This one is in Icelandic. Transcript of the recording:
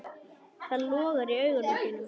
Það logar í augum þínum.